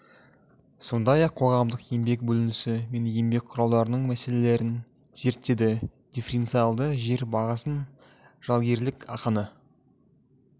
сондай-ақ қоғамдық еңбек бөлінісі мен еңбек құралдарының мәселелерін зерттеді дифференциалды жер бағасын жалгерлік ақыны